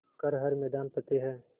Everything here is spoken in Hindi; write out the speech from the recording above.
कर हर मैदान फ़तेह